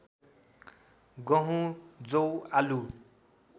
गहुँ जौ आलु